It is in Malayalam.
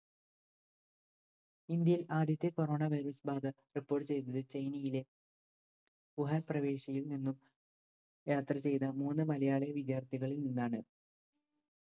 ഇന്ത്യയിൽ ആദ്യത്തെ corona virus ബാധ report ചെയ്തത് ചൈനയിലെ വുഹാൻ പ്രവേശിയിൽ നിന്നും യാത്ര ചെയ്ത മൂന്ന് മലയാളി വിദ്യാർത്ഥികളിൽ നിന്നാണ്.